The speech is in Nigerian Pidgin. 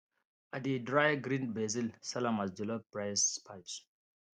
i dey dry grind basil sell am as jollof rice spice